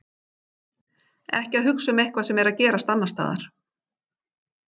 Ekki að hugsa um eitthvað sem er að gerast annars staðar.